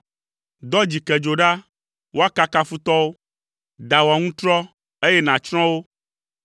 Dɔ dzikedzo ɖa woakaka futɔwo, da wò aŋutrɔ, eye nàtsrɔ̃ wo.